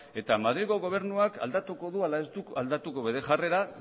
eta madrilgo gobernuak aldatuko du ala ez du aldatuko bere jarrera